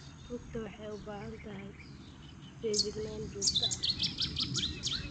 Rugta waxay u baahan tahay feejignaan joogto ah.